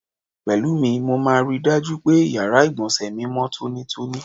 Pè̩lúmi, mo máa ri dájú pé, yàrá ìgbò̩nsè̩ mi mó̩ tónítóní.